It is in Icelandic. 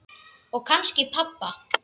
Og kannski pabba.